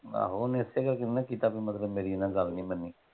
ਆਹੋ ਓਹਨੇ ਇਸੇ ਕਰਕੇ ਨਹੀਂ ਨਾ ਕੀਤਾ ਬੀ ਮਤਲਬ ਮੇਰੀ ਇਹਨਾਂ ਗੱਲ ਨਹੀਂ ਮੰਨੀ।